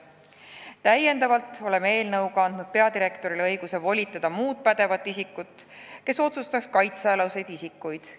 Täiendavalt oleme eelnõu kohaselt andnud peadirektorile õiguse volitada teine pädev isik määrama kaitsealuseid isikuid.